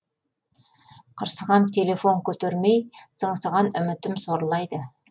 қырсығам телефон көтермей сыңсыған үмітім сорлайды